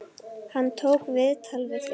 Hann tók viðtal við þig?